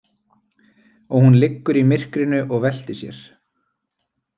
Og hún liggur í myrkrinu og veltir sér.